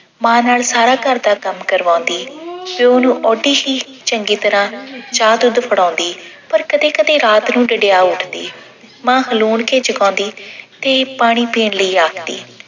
ਮਾਂ ਨਾਲ ਸਾਰਾ ਘਰ ਦਾ ਕੰਮ ਕਰਵਾਉਂਦੀ ਤੇ ਉਹਨੂੰ ਓਡੀ ਹੀ ਚੰਗੀ ਤਰ੍ਹਾਂ ਚਾਹ ਦੁੱਧ ਫੜਾਉਂਦੀ। ਪਰ ਕਦੇ-ਕਦੇ ਰਾਤ ਨੂੰ ਡਿਡਿਆ ਉੱਠਦੀ। ਮਾਂ ਹਲੂਣ ਕੇ ਜਗਾਉਂਦੀ ਤੇ ਪਾਣੀ ਪੀਣ ਲਈ ਆਖਦੀ।